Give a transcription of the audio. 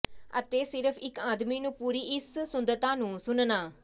ਅਤੇ ਸਿਰਫ਼ ਇੱਕ ਆਦਮੀ ਨੂੰ ਪੂਰੀ ਇਸ ਸੁੰਦਰਤਾ ਨੂੰ ਸੁਣਨਾ